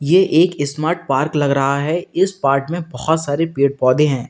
ये एक smart park लग रहा है इस पार्क में बहुत सारे पेड़ पौधे हैं।